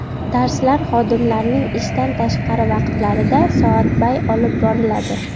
Darslar xodimlarning ishdan tashqari vaqtlarida soatbay olib boriladi.